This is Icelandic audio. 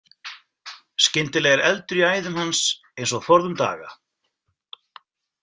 Skyndilega er eldur í æðum hans, eins og forðum daga.